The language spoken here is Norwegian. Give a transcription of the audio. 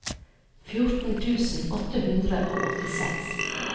fjorten tusen åtte hundre og åttiseks